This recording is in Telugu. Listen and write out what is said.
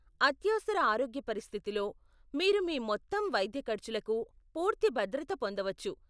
అత్యవసర ఆరోగ్య పరిస్థితిలో, మీరు మీ మొత్తం వైద్య ఖర్చులకు పూర్తి భద్రత పొందవచ్చు.